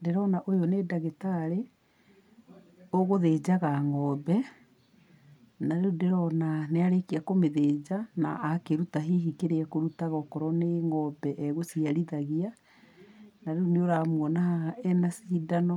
Ndĩrona ũyũ nĩ ndagĩtarĩ, ũgũthĩnjaga ngombe, na rĩũ ndĩrona nĩarĩkia kũmĩthĩnja, na akĩruta hihi kĩrĩa akũrutaga okorwo nĩ ngombe egũciarithagia, na rĩu nĩũramuona haha ena cindano